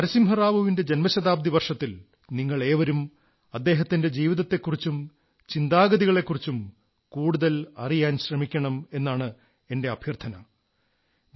നരസിംഹറാവുവിന്റെ ജൻമശതാബ്ദി വർഷത്തിൽ നിങ്ങളേവരും അദ്ദേഹത്തിന്റെ ജീവിതത്തെക്കുറിച്ചും ചിന്താഗതികളെക്കുറിച്ചും കൂടുതൽ അറിയാൻ ശ്രമിക്കണം എന്നാണ് എന്റെ അഭ്യർഥന